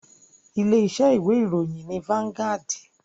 Ilé iṣẹ́ ìwé ìròyìn ni Vangaud.